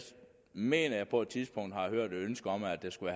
mener jeg på et tidspunkt har hørt et ønske om at det skulle